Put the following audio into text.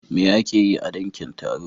Me ake yi a dankin taro?